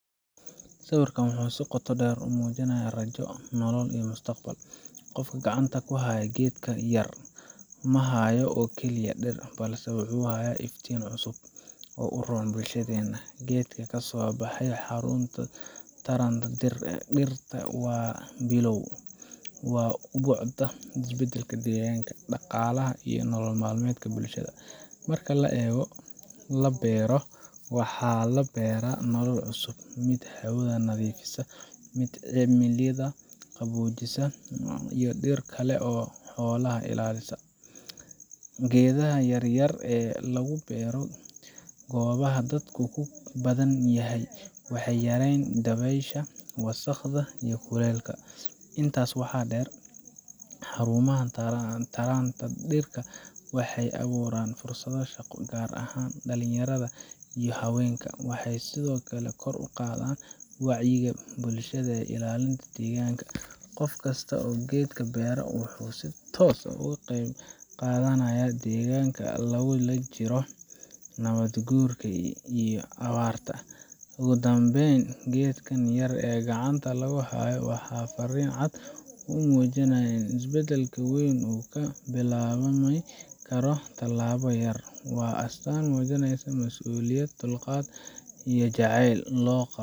Sawirkan wuxuu si qoto dheer u muujinayaa rajo, nolol, iyo mustaqbal. Qofka gacanta ku haya geedka yar ma hayo oo keliya dhir, balse wuxuu hayaa iftiin cusub oo u roon bulshadeenna. Geedka ka soo baxay xarunta taranta dhirta waa bilow waa ubucda isbeddelka deegaanka, dhaqaalaha, iyo nolol maalmeedka bulshada. Marka geed la beero, waxaa la beeraa nolol cusub mid hawada nadiifisa, mid cimilada qaboojisa, mid dhirta kale iyo xoolaha ilaalisa. Geedaha yar yar ee lagu beero goobaha dadku ku badan yahay waxay yareeyaan dabaysha, wasakhda, iyo kuleylka. Intaa waxaa dheer, xarumaha taranta dhirta waxay abuuraan fursado shaqo, gaar ahaan dhalinyarada iyo haweenka. Waxay sidoo kale kor u qaadaan wacyiga bulshada ee ilaalinta deegaanka. Qof kasta oo geed beera wuxuu si toos ah uga qeyb qaadanayaa dagaalka lagula jiro nabaad guurka iyo abaarta. Ugu dambayn, geedkan yar ee gacanta lagu hayo waa fariin cad oo muujinaysa in isbeddelka weyn uu ka bilaabmi karo tallaabo yar. Waa astaan muujinaysa mas’uuliyad, dulqaad, iyo jacayl loo.